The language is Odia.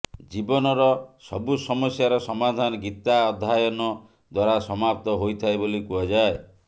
ଜୀବନର ସବୁ ସମସ୍ୟାର ସମାଧାନ ଗୀତା ଅଧ୍ୟାୟନ ଦ୍ୱାରା ସମାପ୍ତ ହୋଇଥାଏ ବୋଲି କୁହାଯାଏ